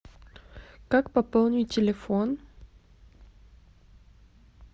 как пополнить телефон